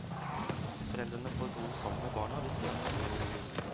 Foreldrene får bo sammen med barna hvis de ønsker det.